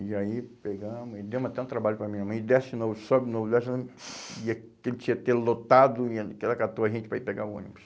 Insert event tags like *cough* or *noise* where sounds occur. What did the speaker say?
E aí pegamos e demos até um trabalho para a minha irmã, e desce de novo, sobe de novo, desce de novo, e aquele *unintelligible* lotado, e eh, ela catou a gente para ir pegar o ônibus.